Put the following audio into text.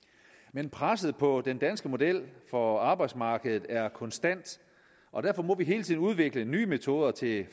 men presset på den danske model for arbejdsmarkedet er konstant og derfor må vi hele tiden udvikle nye metoder til